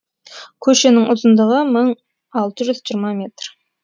көшенің ұзындығы мың алты жүз жиырма метр